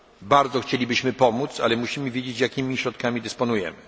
Bardzo chcielibyśmy pomóc, ale musimy wiedzieć jakimi środkami dysponujemy.